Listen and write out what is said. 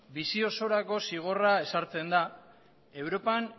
bizi osorako zigorrak ezartzen da europan